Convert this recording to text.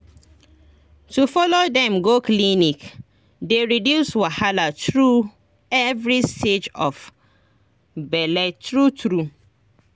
to follow dem go clinic dey reduce wahala through every stage of bele true true